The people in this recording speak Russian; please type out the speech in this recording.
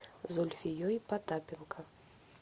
зульфией потапенко